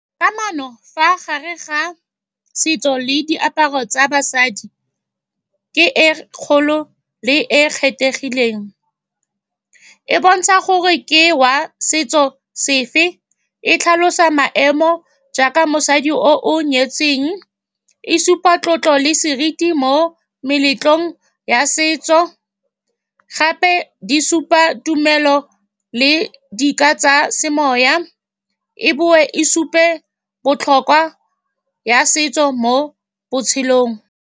Kamano fa gare ga setso le diaparo tsa basadi ke e kgolo le e kgethegileng. E bontsha gore ke wa setso sefe, e tlhalosa maemo jaaka mosadi o o nyetsweng, e supa tlotlo le seriti mo meletlong ya setso. Gape di supa tumelo, le di ka tsa semoya, e boe e supe botlhokwa ya setso mo botshelong.